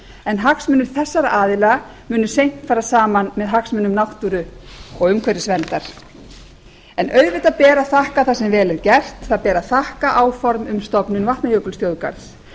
en hagsmunir þessara aðila munu seint fara saman með hagsmunum náttúru og umhverfisverndar en auðvitað ber að þakka það sem vel er gert það ber að þakka áform um stofnun vatnajökulsþjóðgarðs